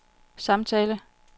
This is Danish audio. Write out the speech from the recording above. samtale